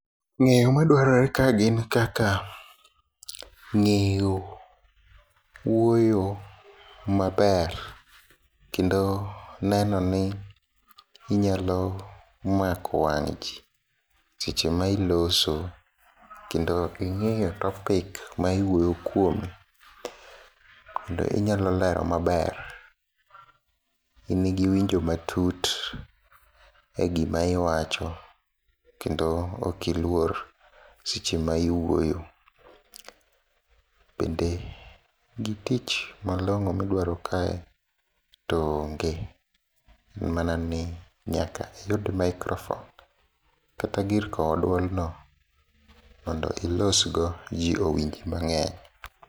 Ng'eyo madwarore kae gin kaka ng'eyo wuoyo maber, kendo nenoni inyalo mako wang' jii seche mailoso, kendo ing'eyo topic maiwuoyo kuome, kendo inyalo lero maber. In gi winjo matut e gima iwacho, kendo okiluor sechema iwuoyo. Bende gi tich malong'o midwaro kae to onge mana ni nyaka iyud microphone kata gir kowo duolno mondo ilosgo jii owinj mang'eny.